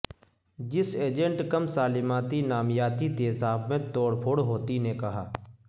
جس ایجنٹ کم سالماتی نامیاتی تیزاب میں توڑ پھوڑ ہوتی نے کہا